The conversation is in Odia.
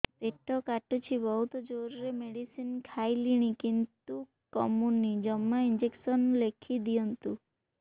ପେଟ କାଟୁଛି ବହୁତ ଜୋରରେ ମେଡିସିନ ଖାଇଲିଣି କିନ୍ତୁ କମୁନି ଜମା ଇଂଜେକସନ ଲେଖିଦିଅନ୍ତୁ